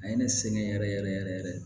A ye ne sɛgɛn yɛrɛ yɛrɛ yɛrɛ